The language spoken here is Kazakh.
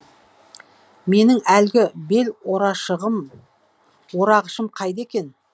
менің әлгі бел орағышым қайда екен